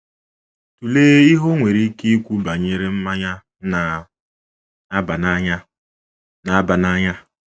Tụlee ihe o nwere ikwu banyere mmanya na - aba n’anya - aba n’anya.